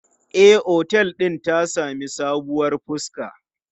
E, otel din ta sami sabuwar fuska.